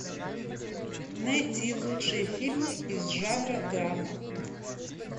найти лучшие фильмы из жанра драма